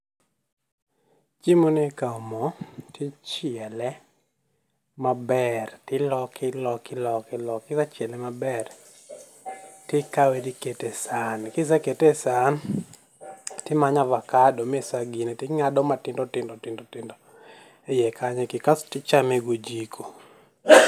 Chiemoni ikawo mo ti chiele maber tiloke iloke iloke iloke, kisechiele maber tikawe tikete sahan, kisekete sahan nimanyo avakado misegine ti nga'do matindo tindo tindo hiye kanyo kasto ichame gi ojiko